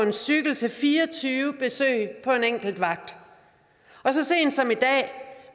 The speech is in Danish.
en cykel til fire og tyve besøg på en enkelt vagt og så sent som i dag